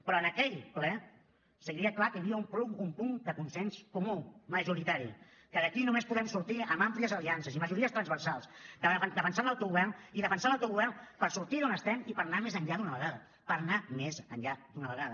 però en aquell ple es veia clar que hi havia un punt de consens comú majoritari que d’aquí només podem sortir amb àmplies aliances i majories transversals defensant l’autogovern i defensant l’autogovern per sortir d’on estem i per anar més enllà d’una vegada per anar més enllà d’una vegada